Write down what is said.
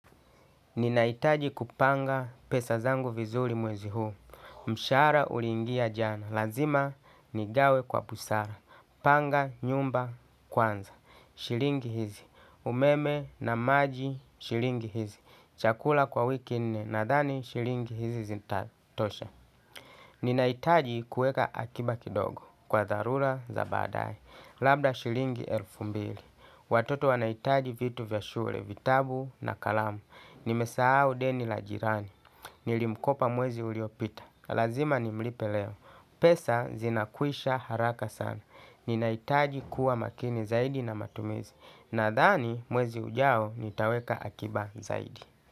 Ninaitaji kupanga pesa zangu vizuri mwezi huu, mshahara uliingia jana, lazima nigawe kwa busara, panga nyumba kwanza, shilingi hizi, umeme na maji shilingi hizi, chakula kwa wiki nne nadhani shilingi hizi zitatosha. Ninahitaji kueka akiba kidogo kwa tharula za baadae. Labda shilingi elfu mbili. Watoto wanahitaji vitu vya shule, vitabu na kalamu. Nimesahau deni la jirani. Nilimkopa mwezi uliopita. Lazima nimlipe leo. Pesa zinakwisha haraka sana. Ninaitaji kuwa makini zaidi na matumizi. Nadhani mwezi hujao nitaweka akiba zaidi.